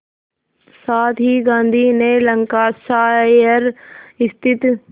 साथ ही गांधी ने लंकाशायर स्थित